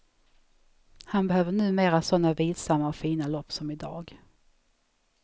Han behöver numera såna vilsamma och fina lopp som idag.